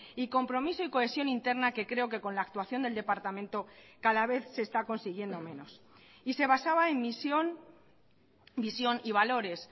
y compromiso y cohesión interna que creo que con la actuación del departamento cada vez se está consiguiendo menos y se basaba en misión visión y valores